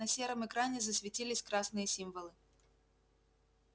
на сером экране засветились красные символы